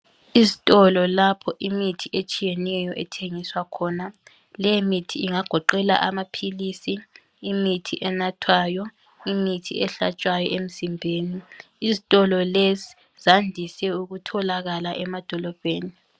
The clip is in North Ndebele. Izitolo lapho imithi etshiyeneyo ethengiswa khona. Leyimithi ingagoqela amaphilisi, imithi enathwayo, imithi ehlatshwa emzimbeni. Izitolo lezi zandise ukutholakala emadolobheni.